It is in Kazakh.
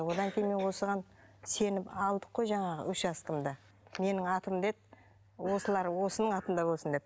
одан кейін осыған сеніп алдық қой жаңағы учаскемді менің атымда еді осылар осының атында болсын деп